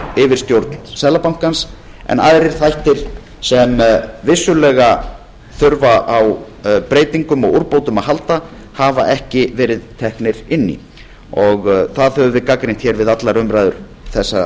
yfirstjórn seðlabankans en aðrir þættir sem vissulega þurfa á breytingum og úrbótum að halda hafa ekki verið teknir inn í það höfum við gagnrýnt hér við allar umræður þessa